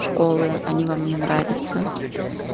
школы они вам не нравятся